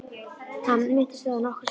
Já, hann minntist á það nokkrum sinnum